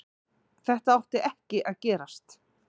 Þetta átti ekki að gerast.